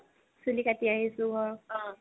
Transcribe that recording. চুলি কাটি আহিছো ঘৰত